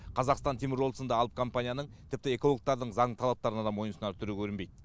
қазақстан теміржолы сынды алып компанияның тіпті экологтардың заңды талаптарына да мойынсұнар түрі көрінбейді